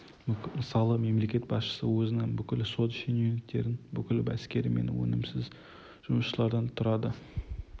мысалы мемлекет басшысы өзінің бүкіл сот шенеуніктері бүкіл әскері мен өнімсіз жұмысшылардан тұрады